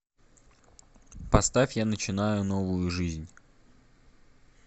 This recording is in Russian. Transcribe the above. поставь я начинаю новую жизнь